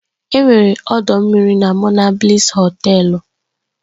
Enwere ọdọ mmiri na Monabliss Họtelu